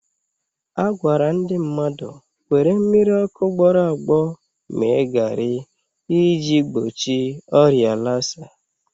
A gwara ndị mmadụ were mmiri ọkụ gbọrọ agbọ mee garị iji gbochi ọrịa lasa